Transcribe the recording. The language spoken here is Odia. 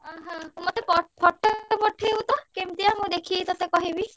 ଅହ! ମତେ ~ପ photo ମତେ ପଠେଇବୁ ତ କେମତିଆ ମୁଁ ଦେଖିକି ତତେ କହିବି।